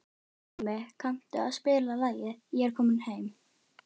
Pálmi, kanntu að spila lagið „Ég er kominn heim“?